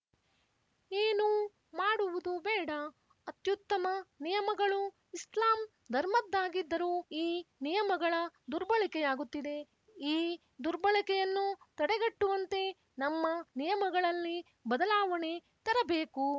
ಏನೂ ಮಾಡುವುದು ಬೇಡ ಅತ್ಯುತ್ತಮ ನಿಯಮಗಳು ಇಸ್ಲಾಂ ಧರ್ಮದ್ದಾಗಿದ್ದರೂ ಈ ನಿಯಮಗಳ ದುರ್ಬಳಕೆಯಾಗುತ್ತಿದೆ ಈ ದುರ್ಬಳಕೆಯನ್ನು ತಡೆಗಟ್ಟುವಂತೆ ನಮ್ಮ ನಿಯಮಗಳಲ್ಲಿ ಬದಲಾವಣೆ ತರಬೇಕು